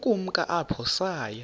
ukumka apho saya